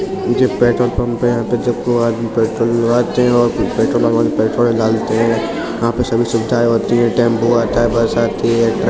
जे petrol pump है | यहाँ पे पेट्रोल भरवाते हैं और पेट्रोल वाले पेट्रोल डालते हैं | यहाँ पे सभी सुविधाएं होती हैं | टेम्पो आतें हैं बस आती हैं।